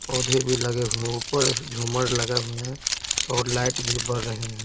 पौधे भी लगे हुए हैं ऊपर झूमर लगे हुए हैं और लाइट भी बर रहे हैं।